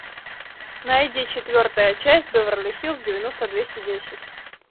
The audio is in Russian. найди четвертая часть беверли хиллз девяносто двести десять